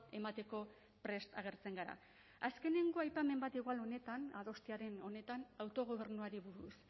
emateko prest agertzen gara azkeneko aipamen bat igual honetan adostearen honetan autogobernuari buruz